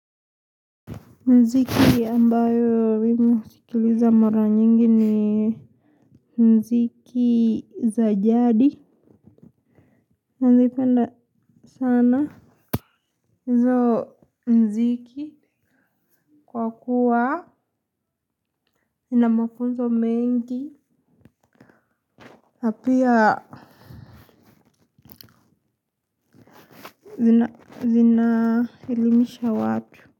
Muziki ambao mimi husikiliza mara nyingi ni muziki za jadi. Nazipenda sana. Hizo muziki kwa kuwa zina mafunzo mengi. Na pia zina elimisha watu.